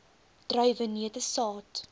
druiwe neute saad